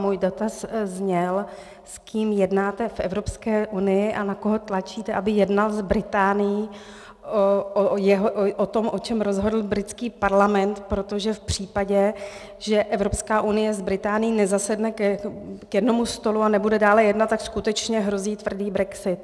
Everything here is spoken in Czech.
Můj dotaz zněl, s kým jednáte v Evropské unii a na koho tlačíte, aby jednal s Británií o tom, o čem rozhodl britský parlament, protože v případě, že Evropská unie s Británií nezasedne k jednomu stolu a nebude dále jednat, tak skutečně hrozí tvrdý brexit.